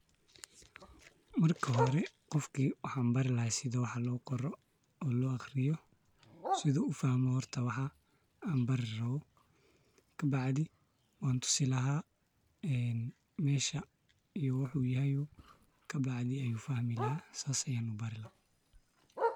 Marka hore qofka waxan bari lahay sida wax loo qoro oo loo aqriyo sidu ufahmo horta waxan an bari rabo ,kabacdi wan tusi laha mesha iyo wuxuu yoho, kabacdi ayu fahmi laha, sas ayan ubari laha